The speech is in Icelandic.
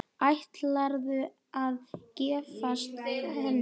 Ætlarðu að giftast henni?